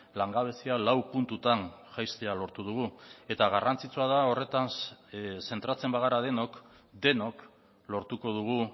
langabezia lau puntutan jaistea lortu dugu eta garrantzitsua da horretan zentratzen bagara denok denok lortuko dugu